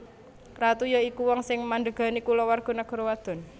Ratu ya iku wong sing mandhégani kulawarga nagara wadon